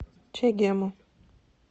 чегему